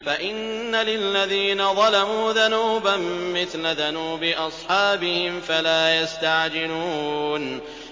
فَإِنَّ لِلَّذِينَ ظَلَمُوا ذَنُوبًا مِّثْلَ ذَنُوبِ أَصْحَابِهِمْ فَلَا يَسْتَعْجِلُونِ